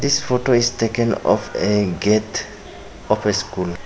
This photo is taken of a gate of a school.